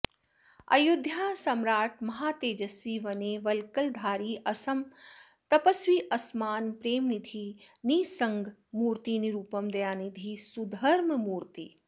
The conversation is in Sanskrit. अयोध्या साम्राट् महातेजस्वि वने वल्कलधारी असम तपस्वि असमान प्रेमनिधि निस्सङ्गमूर्ति निरुपम दयानिधि सुधर्ममूर्ति